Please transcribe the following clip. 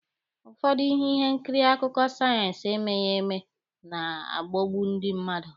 Ụfọdụ ihe nkiri akụkọ sayensị emeghị eme ga-agbọgbu ndị mmadụ.